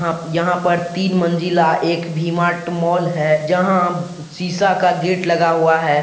यहां पर तीन मंजिला एक वीमार्ट मॉल है जहां शिशा का गेट लगा हुआ है।